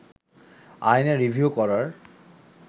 আইনে রিভিউ করার